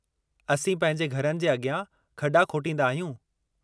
असीं पंहिंजे घरनि जे अॻियां खॾा खोटींदा आहियूं।